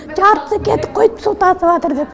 жартысы кетіп қойды су тасыватыр деп